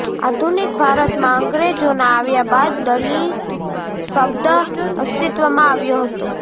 આધુનિક ભારતમાં અંગ્રેજોના આવ્યા બાદ દલિત શબ્દ અસતિત્વમાં આવ્યો હતો